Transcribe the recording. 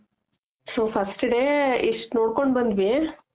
so first day ಇಷ್ಟ್ ನೋಡ್ಕೊಂಡ್ ಬಂದ್ವಿ